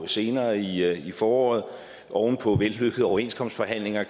senere i foråret oven på vellykkede overenskomstforhandlinger